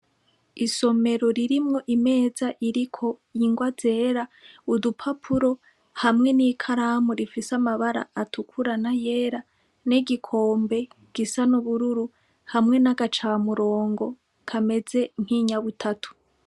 Isomero ririmwo imeza iriko ingwa zera udupapuro hamwe n'ikaramu rifise amabara atukura n’ayera n'egikombe gisa n'ubururu hamwe n'agacamurongo kameze nkinyabutatu.